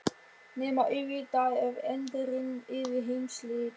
Nema auðvitað ef endirinn yrði heimsslit.